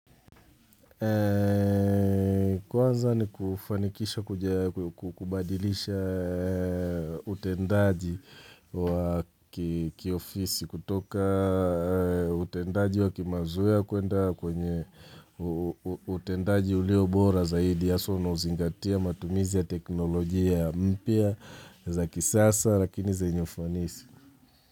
Kwanza ni kufanikisha kubadilisha utendaji wa kiofisi kutoka utendaji wa kimazoea kuenda kwenye utendaji ulio bora zaidi haswa unao zingatia matumizi ya teknolojia mpya za kisasa lakini zenye ufanisi.